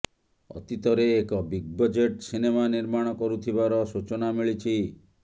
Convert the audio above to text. ଅତୀତରେ ଏକ big budget cinema ନିର୍ମାଣ କରୁଥିବାର ସୂଚନା ମିଳିଛି